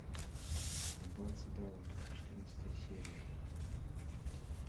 аббатство даунтон четырнадцатая серия